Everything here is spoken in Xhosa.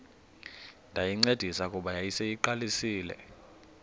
ndayincedisa kuba yayiseyiqalisile